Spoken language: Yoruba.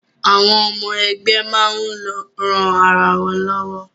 Àwọn ọmọ ẹgbẹ́ máa ń ran ara wọn lọ́wọ́